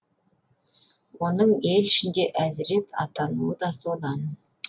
оның ел ішінде әзірет атануы да содан